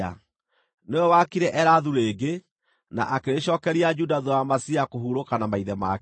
Nĩwe waakire Elathu rĩngĩ, na akĩrĩcookeria Juda thuutha wa Amazia kũhurũka na maithe make.